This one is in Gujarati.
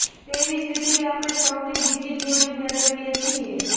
તેવી જ રીતે આપણે પગની બીજી જોડી મેળવીએ છીએ